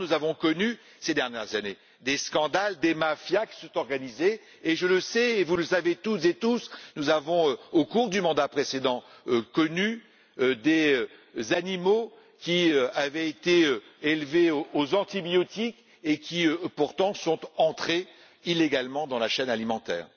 Or, nous avons connu ces dernières années des scandales, des mafias qui se sont organisées, et je le sais et vous le savez, toutes et tous nous avons été, au cours du mandat précédent, confrontés au cas d'animaux qui avaient été élevés aux antibiotiques et qui, pourtant, étaient entrés illégalement dans la chaîne alimentaire.